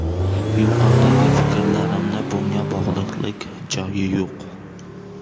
Yuqoridagi fikrlarimni bunga bog‘liqlik joyi yo‘q.